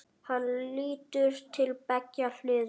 Hann lítur til beggja hliða.